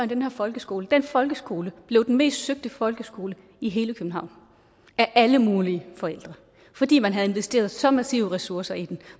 den her folkeskole den folkeskole blev den mest søgte folkeskole i hele københavn af alle mulige forældre fordi man havde investeret så massive ressourcer i den